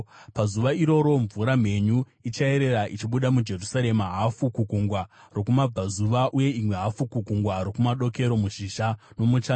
Pazuva iroro mvura mhenyu ichayerera ichibuda muJerusarema, hafu kugungwa rokumabvazuva uye imwe hafu kugungwa rokumadokero, muzhizha nomuchando.